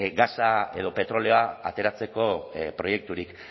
gasa edo petrolioa ateratzeko proiekturik